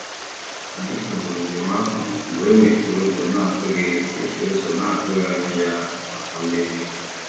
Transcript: Anyị kagburu njem ahụ mgbe e mechiri ụzọ na-atụghị mechiri ụzọ na-atụghị anya ya maka mmezi.